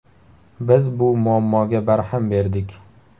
Biz bu muammoga barham berdik.